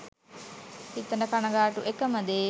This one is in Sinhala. හිතට කනගාටු එකම දේ